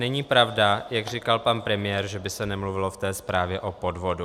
Není pravda, jak říkal pan premiér, že by se nemluvilo v té zprávě o podvodu.